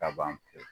Ka ban pewu